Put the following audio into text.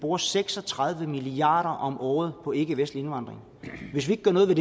bruger seks og tredive milliard kroner om året på ikkevestlig indvandring hvis vi ikke gør noget ved